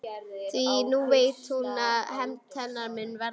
Því nú veit hún hver hefnd hennar mun verða.